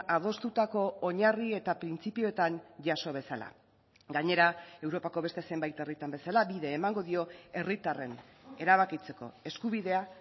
adostutako oinarri eta printzipioetan jaso bezala gainera europako beste zenbait herritan bezala bide emango dio herritarren erabakitzeko eskubidea